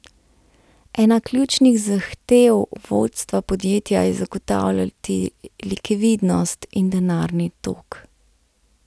Ena ključnih zahtev vodstva podjetja je zagotavljati likvidnost in denarni tok.